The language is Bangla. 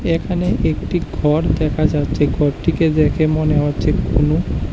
এখানে একটি ঘর দেখা যাচ্ছে ঘরটিকে দেখে মনে হচ্ছে কোনও --